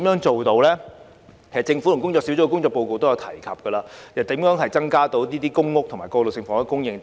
政府和工作小組的報告均有提及增加公屋及過渡性房屋的供應等。